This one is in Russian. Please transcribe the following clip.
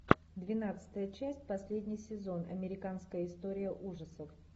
двенадцатая часть последний сезон американская история ужасов